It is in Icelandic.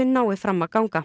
nái fram að ganga